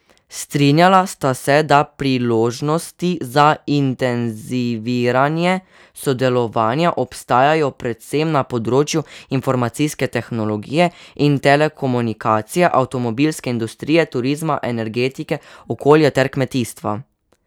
Strinjala sta se, da priložnosti za intenziviranje sodelovanja obstajajo predvsem na področju informacijske tehnologije in telekomunikacij, avtomobilske industrije, turizma, energetike, okolja ter kmetijstva.